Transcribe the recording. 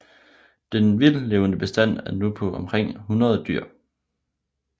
Den vildtlevende bestand er nu på omkring 100 dyr